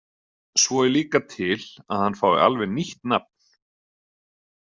Svo er líka til að hann fái alveg nýtt nafn.